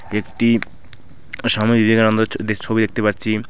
একটি স্বামী বিবেকানন্দের ছ ছবি দেখতে পারছি।